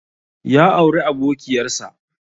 Ya auri abokiƴar sa.